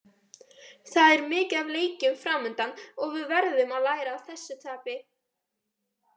Það er mikið af leikjum framundan og við verðum að læra af þessu tapi.